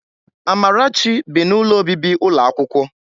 Amarachi bi n'ụlọ obibi ụlọ akwụkwọ.